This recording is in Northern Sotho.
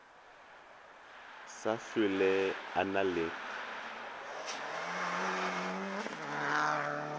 sa hlwele a na le